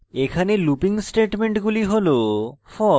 এখানে looping স্টেটমেন্টগুলি has